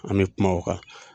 An mɛ kuma o kan.